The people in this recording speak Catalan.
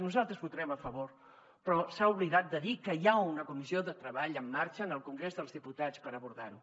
nosaltres hi votarem a favor però s’ha oblidat de dir que hi ha una comissió de treball en marxa en el congrés dels diputats per abordar ho